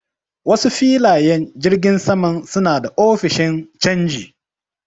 Wasu filayen jirgin saman suna da ofishin canji.